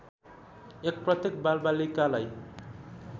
१ प्रत्येक बालबालिकालाई